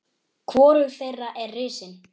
Hvorug þeirra er risin.